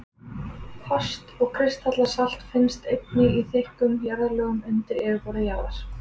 Fast og kristallað salt finnst einnig í þykkum jarðlögum undir yfirborði jarðar.